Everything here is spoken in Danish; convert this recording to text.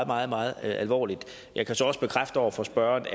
meget meget alvorligt jeg kan så også bekræfte over for spørgeren